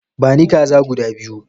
Bani kaza guda biyu!